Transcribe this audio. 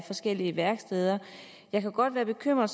forskellige værksteder jeg kan godt være bekymret